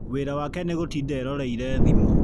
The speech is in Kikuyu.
Wĩra wake nĩgũtinda eroreire thimũ.